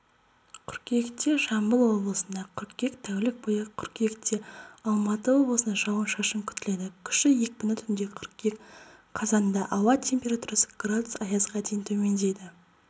қыркүйектежамбыл облысында қыркүйек тәулік бойы түнде қыркүйектеалматы облысында жауын-шашын күтіледі күші екпіні түнде қыркүйек қазандаауа температурасы градус аязға дейін төмендейді